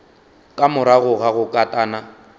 ka morago ga go katana